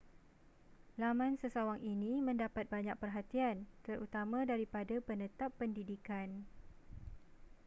laman sesawang ini mendapat banyak perhatian terutama daripada penetap pendidikan